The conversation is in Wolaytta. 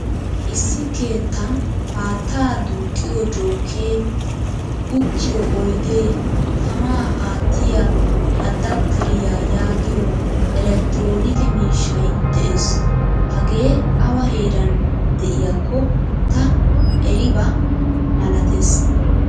Issi keettan haattaa duuqqiyo jookee, uttiyo oydee, tamaa aattiyaa adapteriyaa yaagiyo elektironikke miishshay de'ees. Hagee awa heeran de'iaykko ta eriba malattees.